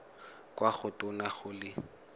kwa go tona go le